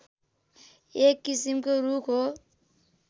एक किसिमको रूख हो